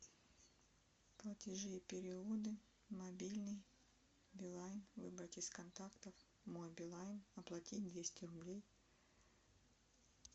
платежи и переводы мобильный билайн выбрать из контактов мой билайн оплатить двести рублей